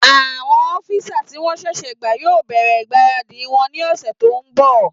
Àwọn ọ́físà tí wọ́n sẹ̀sẹ̀ gbà yóò bẹ̀rẹ̀ ìgbáradì wọn ní ọ̀sẹ̀ tó n bọ̀